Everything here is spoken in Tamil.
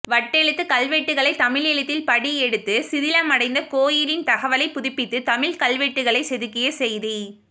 வட்டெழுத்து கல்வெட்டுக்களைத் தமிழ் எழுத்தில் படியெடுத்து சிதிலமடைந்த கோயிலின் தகவலை புதுப்பித்து தமிழ் கல்வெட்டுக்களைச் செதுக்கிய செய்தி